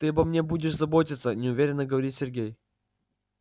ты обо мне будешь заботиться неуверенно говорит сергей